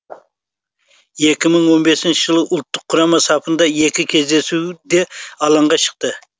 екі мың он бесінші жылы ұлттық құрама сапында екі кездесуде алаңға шықты